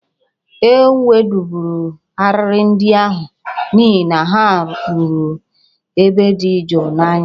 E nwụdere arịrị ndị ahụ n'ihi na ha hụrụ ebe dị jụụ n'anya